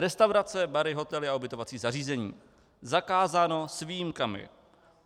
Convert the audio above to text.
Restaurace, bary, hotely a ubytovací zařízení, zakázáno s výjimkami.